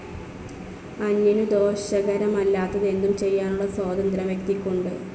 അന്യനു ദോഷകരമല്ലാത്തതെന്തും ചെയ്യാനുള്ള സ്വാതന്ത്ര്യം വ്യക്തിക്കുണ്ട്.